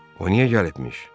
O niyə gəlibmiş?